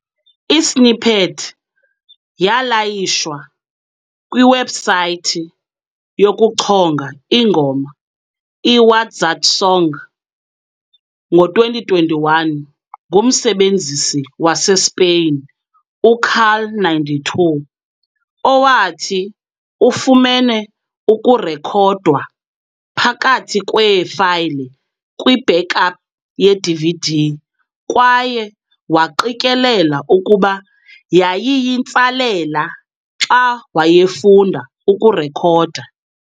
I-snippet yalayishwa kwiwebhusayithi yokuchonga ingoma i-WatZatSong ngo-2021 ngumsebenzisi waseSpain u-carl92, owathi ufumene ukurekhodwa phakathi kweefayile kwi-backup yeDVD kwaye waqikelela ukuba yayiyintsalela xa wayefunda ukurekhoda.